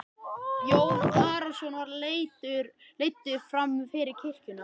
Jón Arason var leiddur fram fyrir kirkjuna.